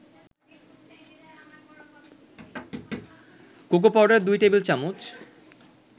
cocoa powder ২ টেবিল-চামচ